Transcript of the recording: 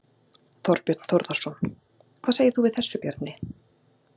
Þorbjörn Þórðarson: Hvað segir þú við þessu, Bjarni?